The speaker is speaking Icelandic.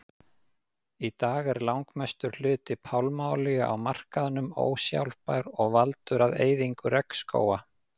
Í dag er langmestur hluti pálmaolíu á markaðnum ósjálfbær og valdur að eyðingu regnskóga.